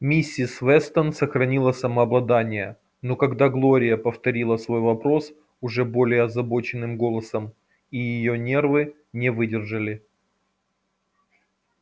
миссис вестон сохранила самообладание но когда глория повторила свой вопрос уже более озабоченным голосом и её нервы не выдержали